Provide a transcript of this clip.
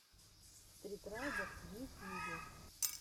стритрайдер в ютьюбе